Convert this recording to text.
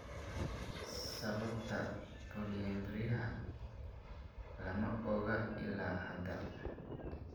Sababta polyembriyaha lama oga ilaa hadda.